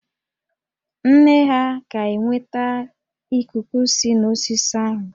Nne ha ga-enweta ikuku si n'osisi ahụ